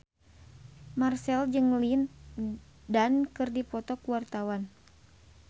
Marchell jeung Lin Dan keur dipoto ku wartawan